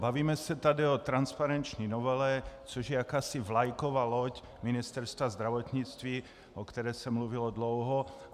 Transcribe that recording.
Bavíme se tady o transparenční novele, což je jakási vlajková loď Ministerstva zdravotnictví, o které se mluvilo dlouho.